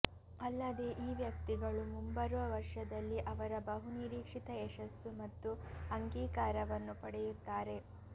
ಅಲ್ಲದೇ ಈ ವ್ಯಕ್ತಿಗಳು ಮುಂಬರುವ ವರ್ಷದಲ್ಲಿ ಅವರ ಬಹುನಿರೀಕ್ಷಿತ ಯಶಸ್ಸು ಮತ್ತು ಅಂಗೀಕಾರವನ್ನು ಪಡೆಯುತ್ತಾರೆ